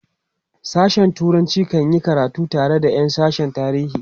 sashen turanci kan yi karatu tare da Yan sashen tarihi